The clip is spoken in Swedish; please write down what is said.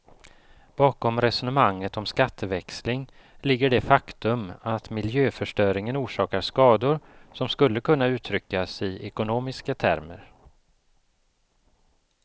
Bakom resonemanget om skatteväxling ligger det faktum att miljöförstöringen orsakar skador som skulle kunna uttryckas i ekonomiska termer.